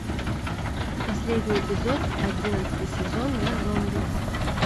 последний эпизод одиннадцатый сезон я зомби